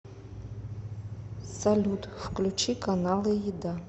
салют включи каналы еда